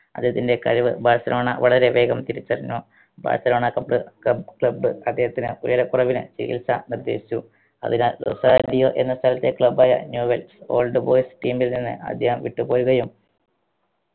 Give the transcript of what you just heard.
അദ്ദേഹത്തിൻറെ കഴിവ് ബാഴ്‌സലോണ വളരെ വേഗം തിരിച്ചറിഞ്ഞു ബാഴ്‌സലോണ കബ്ള് ക്ല club അദ്ധേഹത്തിന് ഉയരക്കുറവിന് ചികിത്സ നിർദേശിച്ചു അതിനാൽ റൊസാരിയോ എന്ന സ്ഥലത്തെ club ആയ new wells old boys team ൽ നിന്നും അദ്ദേഹം വിട്ട് പോരുകയും